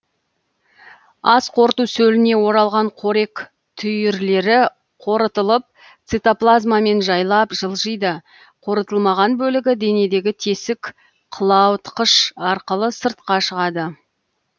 асқорыту сөліне оралған қорек түйірлері қорытылып цитоплазмамен жайлап жылжиды қорытылмаған бөлігі денедегі тесік қылаулатқыш арқылы сыртқа шығады